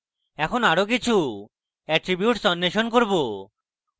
এখন আরো কিছু এট্রীবিউটস অন্বেষণ করুন